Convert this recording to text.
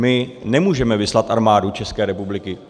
My nemůžeme vyslat Armádu České republiky.